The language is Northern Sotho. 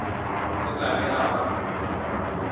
o tla be a ba